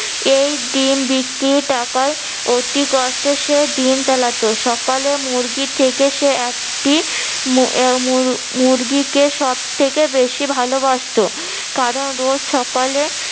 এই ডিম বিক্রি টাকায় অতি কষ্টে সে দিন চালাতো। সকালে মুরগি থেকে সে একটি মুরগিকে সব থেকে বেশি ভালোবাসত। কারণ রোজ সকালে